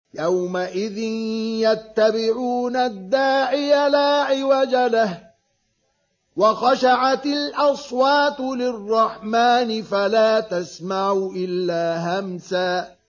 يَوْمَئِذٍ يَتَّبِعُونَ الدَّاعِيَ لَا عِوَجَ لَهُ ۖ وَخَشَعَتِ الْأَصْوَاتُ لِلرَّحْمَٰنِ فَلَا تَسْمَعُ إِلَّا هَمْسًا